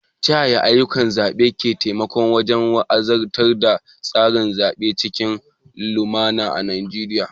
Ta yaya ayyukan zaɓe ke taimakawa wajen wanzar da tsarin zaɓe cikin lumana a Najeriya?